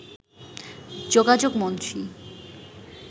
যোগাযোগ মন্ত্রী